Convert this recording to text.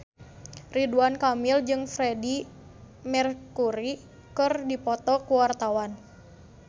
Ridwan Kamil jeung Freedie Mercury keur dipoto ku wartawan